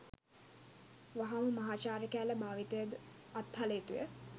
වහාම මහාචාර්ය කෑල්ල භාවිතය ද අත්හළ යුතුය